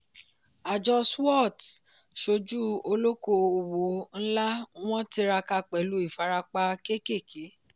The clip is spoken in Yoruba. àjọ swoots sojú olóko òwò nla wọ́n tiraka pẹ̀lú ìfarapa kékèké.